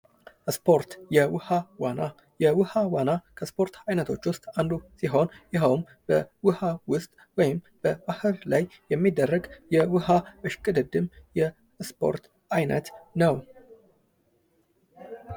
ስፖርት የውሃ ዋና ፡-የውሃ ዋና ከስፖርት አይነት ውስጥ አንዱ ሲሆን ይሆን በውሃ ውስጥ ወይንም በባህር ላይ የሚደረግ የውሃ እሽቅድምድም የስፖርት አይነት ነው።